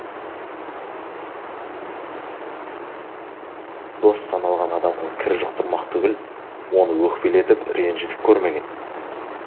дос саналған адамға кір жұқтырмақ түгіл оны өкпелетіп ренжітіп көрмеген